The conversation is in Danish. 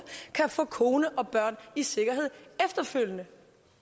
kan få kone og børn i sikkerhed efterfølgende